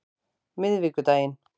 miðvikudaginn